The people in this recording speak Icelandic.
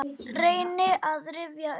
Reyni að rifja upp.